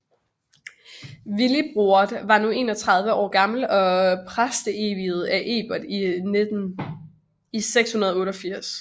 Willibrord var nu 31 år gammel og var præsteviet af Egbert i 688